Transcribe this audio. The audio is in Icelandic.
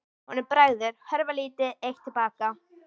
Honum bregður, hörfar lítið eitt til baka.